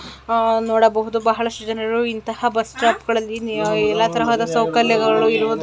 ಆ ನೋಡಬಹುದು ಬಹಳಷ್ಟು ಜನರು ಇಂತಹ ಬಸ್ ಸ್ಟಾಪ್ ಗಳಲ್ಲಿ ಎಲ್ಲಾ ತರಹದ ಸೌಕರ್ಯಗಳು ಇರುವುದು --